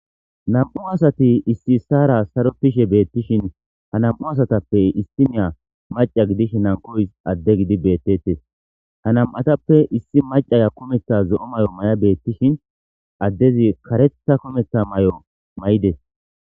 Nam7u asati issi issara sarokishe beettishin ha nam7u asatappe issiniya maca gidish hankoysi adde gidi beettettes. Ha nam7atappe issi macaya kometha zo7o may7o may7a beettishin addezi karetha kometha may7o may7ides.